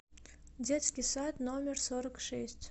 детский сад номер сорок шесть